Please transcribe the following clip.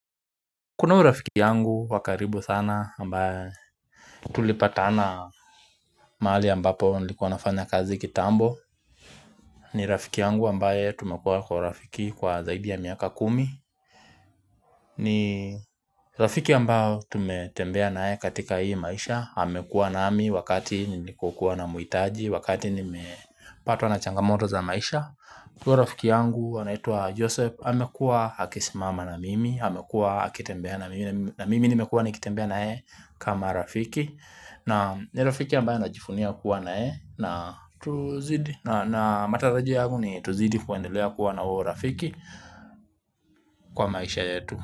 Kuna huyu rafiki yangu wakaribu sana ambaye tutulipatana mahali ambapo nilikuwa nafanya kazi kitambo ni rafiki yangu ambaye tumekuwa kwa urafiki kwa zaidi ya miaka kumi ni rafiki ambayo tumetembea nayeye katika hii maisha amekuwa nami wakati nilikokuwa na muitaji wakati nimepatwa na changamoto za maisha huyo rafiki yangu anaitwa Joseph amekuwa akisimama na mimi amekuwa akitembea na mimi ni nimekuwa nikitembea na yeye kama rafiki na rafiki ambaye najivunia kuwa na yeye na matarajio yangu ni tuzidi kuendelea kuwa na huo urafiki kwa maisha yetu.